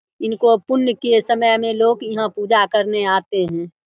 इनको पुण्य के समय में लोक यहां पूजा करने आते हैं।